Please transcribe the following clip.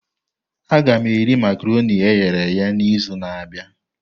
Aga m eri makaronii e ghere eghe n'izu na-abịa.